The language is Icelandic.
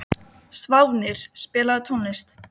Hárin risu á höfðinu á Lillu.